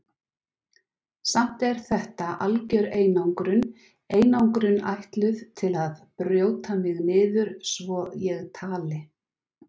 Samt er þetta algjör einangrun, einangrun ætluð til að brjóta mig niður svo ég tali.